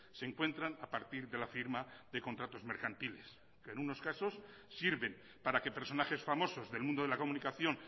se encuentran a partir de la firma de contratos mercantiles que en unos casos sirven para que personajes famosos del mundo de la comunicación